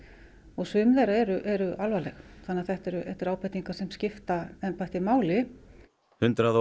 og sumar þeirra eru alvarlegar þannig að þetta eru ábendingar sem skipta embættið máli hundrað og